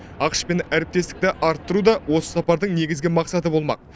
ақш пен әріптестікті арттыру да осы сапардың негізгі мақсаты болмақ